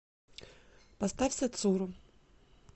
поставь сацуру